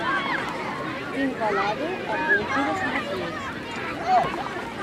фильм баллады о бомбере смотреть